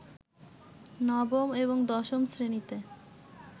নবম এবং দশম শ্রেণীতে